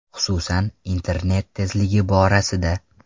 Xususan, internet tezligi borasida.